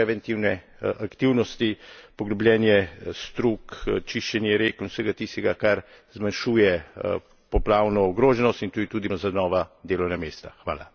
To pomeni, da začnemo vlagati v preventivne aktivnosti poglabljanje strug, čiščenje rek in vsega tistega, kar zmanjšuje poplavno ogroženost, in to je tudi priložnost za nova delovna mesta.